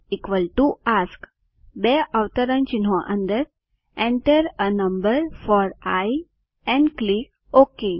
i A S K બે અવતરણચિહ્નો અંદર enter એ number four I and click okay